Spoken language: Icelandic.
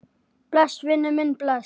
Bless, vinur minn, bless.